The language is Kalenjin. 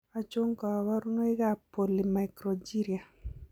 Achon kaborunoik ab polymicrogyria?